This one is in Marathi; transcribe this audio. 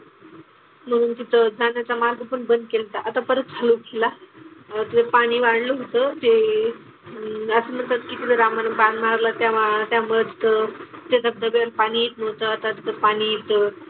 म्हणून तिथं जाण्याचा मार्ग पण बंद केल्ता आता परत चालू केला. तर पाणी वाढलं होतं ते आणि असलं तर तिकडं रामानं बाण मारला तेव्हा त्यामध्ये त्याच्यात पाणी येत नव्हतं. आता तिथं पाणी येतं.